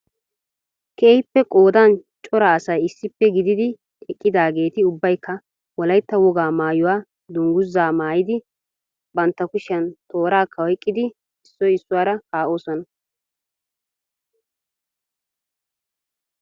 Keehippe qoodan cora asay issippe gididi eqqidaageeti ubbaykka wolaytta wogaa maayyuwaa dungguzaa maayyidi bantta kushiyaan toorakka oyqqidi issoy issuwaara kaa'oosona.